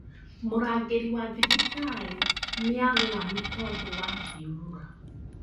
Mũrangĩri wa thibitarĩ nĩagũa nĩ tondũ wa thiũrũra